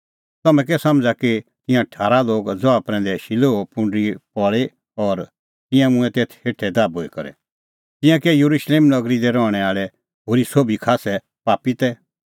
तम्हैं कै समझ़ा कि तिंयां ठारा लोग ज़हा प्रैंदै शिलोहे पुंडरी पल़ी और तिंयां मूंऐं तेथ हेठै दाभूई करै तिंयां कै येरुशलेम नगरी दी रहणैं आल़ै होरी सोभी का खास्सै पापी तै